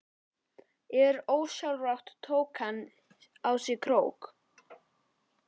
En ósjálfrátt tók hann á sig krók.